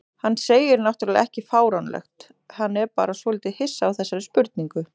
Hann segir náttúrlega ekki fáránlegt, hann er bara svolítið hissa á þessari spurningu.